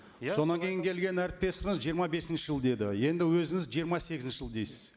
содан кейін келген әріптесіңіз жиырма бесінші жыл деді енді өзіңіз жиырма сегізінші жыл дейсіз